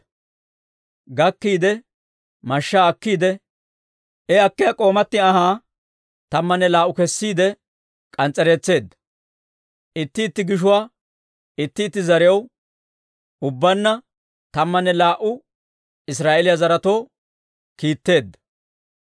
Soy gakkiide, mashshaa akkiide, bare akkiyaa k'oomatti anhaa tammanne laa"uwaa kessiide k'ans's'ereetseedda. Itti itti gishuwaa itti zarew, ubbanna tammanne laa"u Israa'eeliyaa zaretoo yeddeedda.